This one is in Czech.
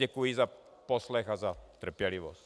Děkuji za poslech a za trpělivost.